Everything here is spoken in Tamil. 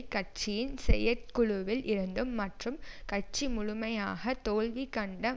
கட்சியின் செயற்குழுவில் இருந்தும் மற்றும் கட்சி முழுமையாக தோல்வி கண்ட